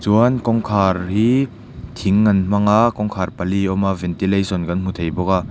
chuan kawngkhar hi thing an hmang a kawngkhar pali a awm a ventilation kan hmu thei bawk a.